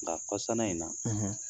Nka kɔsana in na